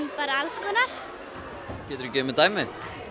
bara alls konar geturðu gefið dæmi